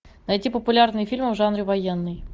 найти популярные фильмы в жанре военный